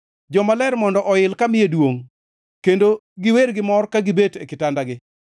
Jomaler mondo oil kamiye duongʼ kendo giwer gimor ka gibet e kitandagi.